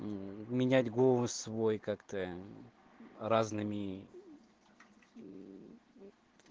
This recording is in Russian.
менять голос свой как-то разными